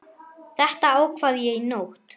Þetta ákvað ég í nótt.